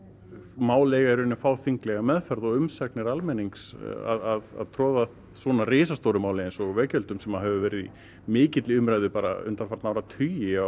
mál eiga í raun að fá þinglega meðferð og umsagnir almennings að troða svona risastóru máli eins og veggjöldum sem hefur verið í mikilli umræðu undanfarna áratugi á